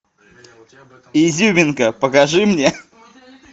изюминка покажи мне